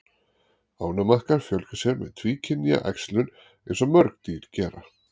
Ánamaðkar fjölga sér með tvíkynja æxlun eins og mörg dýr gera.